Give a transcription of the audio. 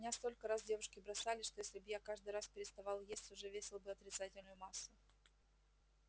меня столько раз девушки бросали что если бы я каждый раз переставал есть уже весил бы отрицательную массу